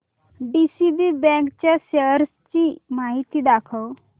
DCB bank च्या shares ची माहिती दाखव